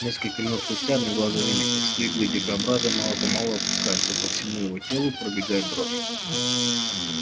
несколько минут спустя одноглазый заметил что иглы дикобраза мало помалу опускаются и по всему его телу пробегает дрожь